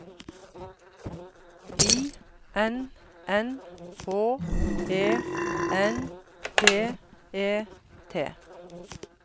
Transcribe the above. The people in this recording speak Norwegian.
I N N H E N T E T